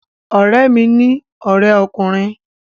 Ọ̀rẹ́ mi ní ọrẹ ọkùnrin